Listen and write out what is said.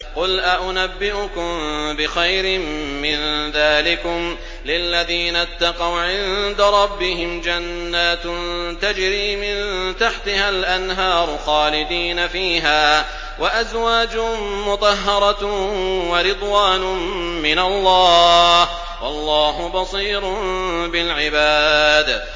۞ قُلْ أَؤُنَبِّئُكُم بِخَيْرٍ مِّن ذَٰلِكُمْ ۚ لِلَّذِينَ اتَّقَوْا عِندَ رَبِّهِمْ جَنَّاتٌ تَجْرِي مِن تَحْتِهَا الْأَنْهَارُ خَالِدِينَ فِيهَا وَأَزْوَاجٌ مُّطَهَّرَةٌ وَرِضْوَانٌ مِّنَ اللَّهِ ۗ وَاللَّهُ بَصِيرٌ بِالْعِبَادِ